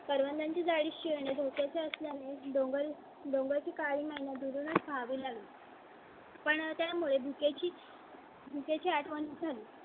करवंदांची जाळी शी येणे धोक्या चे असणार नाही. डोंगर डोंगर ची काळी मैना दुरूनच पहावी लागेल . पण त्यामुळे भुके ची. त्या ची आठवण झाली